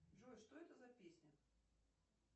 джой что это за песня